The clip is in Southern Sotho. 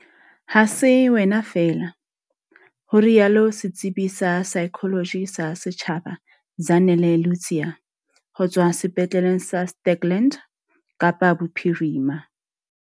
Ha se wena feela, ho rialo setsebi sa saekholoji sa setjhaba Zanele Ludziya ho tswa Sepetleleng sa Stikland, Kapa Bophirima.